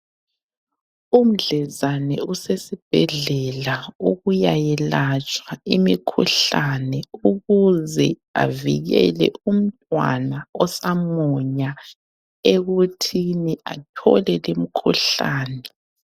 Umdlezane usesibhedlela ukuyayelatshwa imikhuhlane ukuze avikele umntwana osamunya ekuthini athole limkhuhlane.